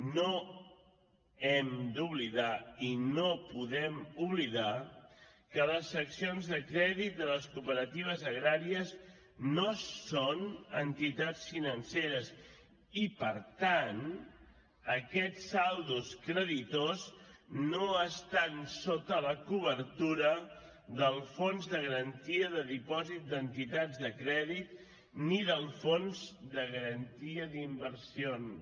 no hem d’oblidar i no podem oblidar que les seccions de crèdit de les cooperatives agràries no són entitats financeres i per tant aquests saldos creditors no estan sota la cobertura del fons de garantia de dipòsit d’entitats de crèdit ni del fons de garantia d’inversions